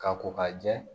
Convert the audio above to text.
Ka ko ka jɛ